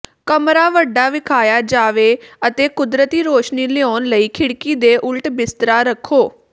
ਕਮਰਾ ਵੱਡਾ ਵਿਖਾਇਆ ਜਾਵੇ ਅਤੇ ਕੁਦਰਤੀ ਰੌਸ਼ਨੀ ਲਿਆਉਣ ਲਈ ਖਿੜਕੀ ਦੇ ਉਲਟ ਬਿਸਤਰਾ ਰੱਖੋ